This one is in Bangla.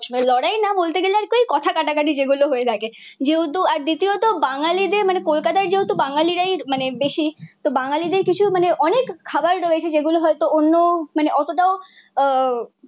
লড়াই না বলতে গেলে ওই কই কথা কাটাকাটি যেগুলো হয়ে থাকে। যেহেতু আর দ্বিতীয়ত বাঙ্গালীদের মানে কলকাতায় যেহেতু বাঙালিরাই মানে বেশি, তো বাঙ্গালীদের কিছু মানে অনেক খাবার রয়েছে যেগুলো হয়তো অন্য মানে অতটাও আহ